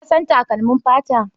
Ka san takalmin fata?